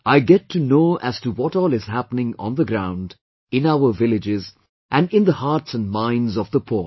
I get to know as to what all is happening on the ground, in our villages and in the hearts and minds of the poor